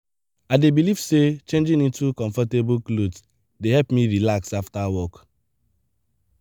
i dey believe say changing into comfortable clothes dey help me relax after work.